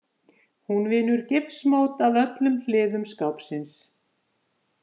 Hún vinnur gifsmót af öllum hliðum skápsins.